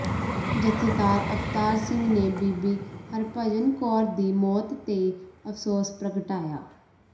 ਜਥੇਦਾਰ ਅਵਤਾਰ ਸਿੰਘ ਨੇ ਬੀਬੀ ਹਰਭਜਨ ਕੌਰ ਦੀ ਮੌਤ ਤੇ ਅਫਸੋਸ ਪ੍ਰਗਟਾਇਆ